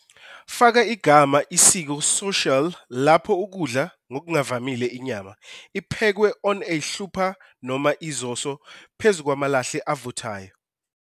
Faka igama isiko social lapho ukudla, ngokuvamile inyama, iphekwe on a hlupha noma izoso phezu kwamalahle avuthayo.